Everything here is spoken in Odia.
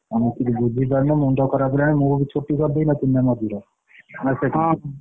ମୁଁ କିଛି ବୁଝି ପାରୁନି ମୁଣ୍ଡଖରାପ ହେଲାଣି ମୁଁ ବି ଛୁଟି କରିଦେଇନଥିଲି ମଝିରେ ମାସେ ଖଣ୍ଡ ହଁ ହଁ।